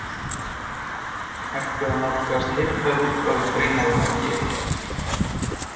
Hægt er að nálgast heildarútgáfu greinarinnar hér.